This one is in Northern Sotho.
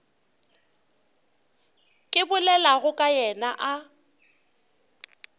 ke bolelago ka yena a